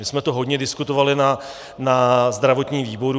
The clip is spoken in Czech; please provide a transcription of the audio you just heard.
My jsme to hodně diskutovali na zdravotním výboru.